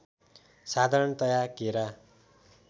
साधारणतया केरा